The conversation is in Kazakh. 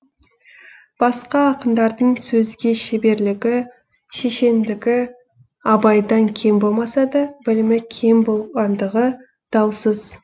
басқа ақындардың сөзге шеберлігі шешендігі абайдан кем болмаса да білімі кем болғандығы даусыз